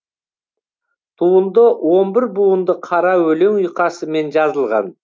туынды он бір буынды қара өлең ұйқасымен жазылған